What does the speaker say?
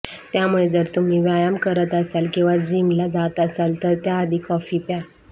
त्यामुळे जर तुम्ही व्यायाम करत असाल किंवा जीमला जात असाल तर त्याआधी कॉफी प्या